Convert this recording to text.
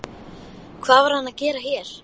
Hvað var hann að gera hér?